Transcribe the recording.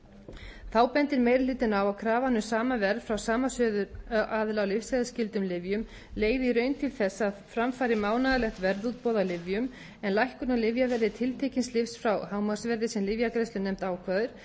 svíþjóð þá bendir meiri hlutinn á að krafan um sama verð frá sama söluaðila á lyfseðilsskyldum lyfjum leiði í raun til þess að fram fari mánaðarlegt verðútboð á lyfjum en lækkun á lyfjaverði tiltekins lyfs frá hámarksverði sem lyfjagreiðslunefnd ákveður